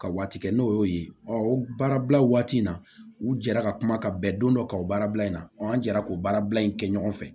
Ka waati kɛ n'o y'o ye o baarabila waati in na u jɛra ka kuma ka bɛn don dɔ kan o baarabila in na an jɛra k'o baarabila in kɛ ɲɔgɔn fɛ